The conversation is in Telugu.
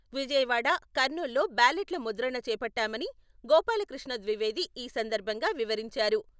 విజయవాడ, కర్నూల్ లో బ్యాలెట్ల ముద్రణ చేపట్టామని గోపాలకృష్ణ ద్వివేది ఈ సందర్భంగా వివరించారు.